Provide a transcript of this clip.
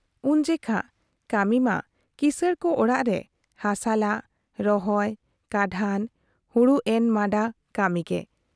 ᱩᱱ ᱡᱮᱠᱷᱟ ᱠᱟᱹᱢᱤ ᱢᱟ ᱠᱤᱥᱟᱹᱬ ᱠᱚ ᱚᱲᱟᱜ ᱨᱮ ᱦᱟᱥᱟᱞᱟ, ᱨᱚᱦᱚᱭ ᱠᱟᱰᱷᱟᱱ, ᱦᱩᱲᱩ ᱮᱱᱢᱟᱱᱰᱟ ᱠᱟᱹᱢᱤ ᱜᱮ ᱾